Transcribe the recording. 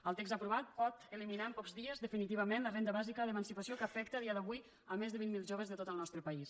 el text aprovat pot eliminar en pocs dies definitivament la renda bàsica d’emancipació que afecta a dia d’avui més de vint mil joves de tot el nostre país